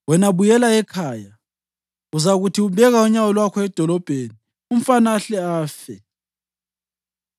Wena, buyela ekhaya. Uzakuthi ubeka unyawo lwakho edolobheni umfana ahle afe.